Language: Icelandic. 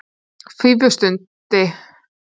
Fífusundi